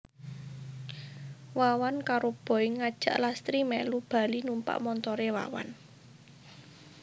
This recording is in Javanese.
Wawan karo Boy ngajak Lastri mèlu bali numpak montoré Wawan